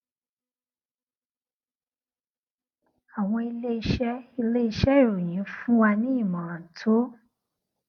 àwọn iléeṣé iléeṣé ìròyìn fún wa ní ìmòràn tó